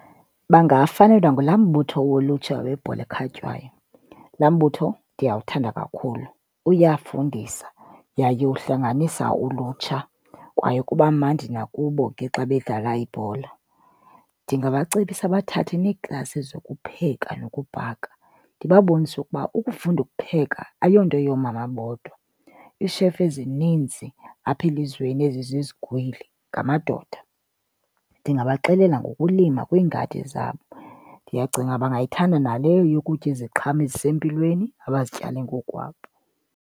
Bangabafelwa ngulaa mbutho wolutsha webhola ekhatywayo. Laa mbutho ndiyawuthanda kakhulu. Uyafundisa yaye uhlanganisa ulutsha kwaye kuba mandi nakubo ke xa bedlala ibhola. Ndingabacebisa bathathe neeklasi zokupheka nokubhaka. Ndibabonise ukuba ukufunda ukupheka ayonto yoomama bodwa, iishefu ezininzi apha elizweni ezizizigwili ngamadoda. Ndingabaxelela ngokulima kwiingadi zabo, ndiyacinga bangayithanda naleyo yokutya iziqhamo ezisempilweni abazityale ngokukwabo.